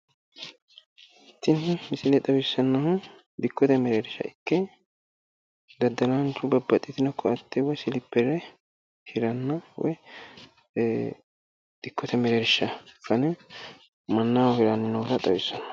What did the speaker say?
Tini misile xawissannohu dikkote mereersha ikke daddalaanchu babbaxxitino koatte silippere hiranna woyi dikkote mereersha fane mannaho hiranni noota xawissanno.